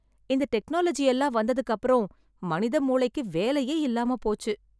இந்த டெக்னாலஜி எல்லாம் வந்ததுக்கு அப்புறம் மனித மூளைக்கு வேலையே இல்லாம போச்சு.